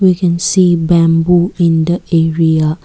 we can see bamboo in the area.